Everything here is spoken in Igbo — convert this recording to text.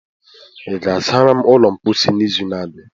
ị ga-asara m ụlọ mposi n'izu na-abịa?